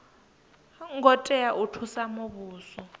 ngo tea u thusa muvhuso